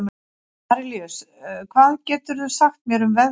Arilíus, hvað geturðu sagt mér um veðrið?